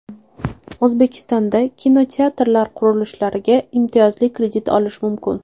O‘zbekistonda kinoteatrlar qurilishiga imtiyozli kredit olish mumkin.